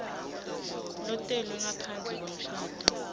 lotelwe ngaphandle kwemshado